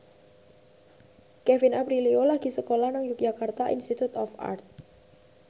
Kevin Aprilio lagi sekolah nang Yogyakarta Institute of Art